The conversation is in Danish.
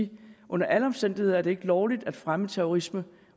det under alle omstændigheder ikke er lovligt at fremme terrorisme